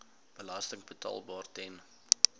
belasting betaalbaar ten